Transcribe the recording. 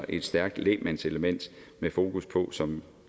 et stærkt lægmandselement med fokus på som